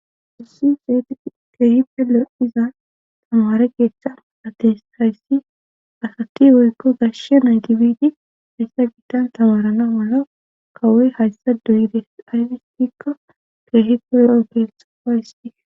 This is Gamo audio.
hossi zeeti keehipe lo iza tamare geeshsha adte hayssi asati woykko gashshe nytibidi hayssa bittan tamarana mala kawoy hayssa duyides aynestikko keehiko lo7o keesapayisti